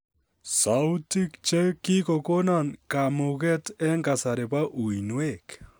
Sautik che kikokonon kamuget eng' kasari bo uinwek